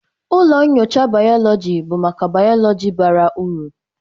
Ụlọ nyocha bayoloji bụ maka bayoloji bara uru.